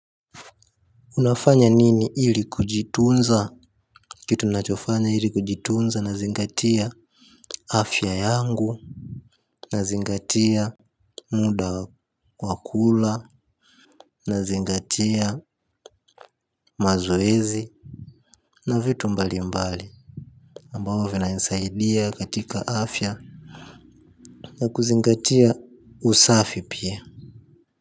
Unafanya nini ili kujitunza? Kitu ninachofanya ili kujitunza nazingatia afya yangu. Nazingatia muda wa kula. Nazingatia mazoezi na vitu mbalimbali ambao vinanisaidia katika afya. Na kuzingatia usafi pia.